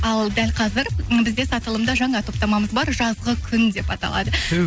ал дәл қазір м бізде сатылымда жаңа топтамамыз бар жазғы күн деп аталады түһ